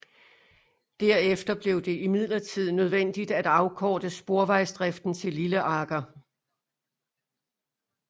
Derefter blev det imidlertid nødvendigt at afkorte sporvejsdriften til Lilleaker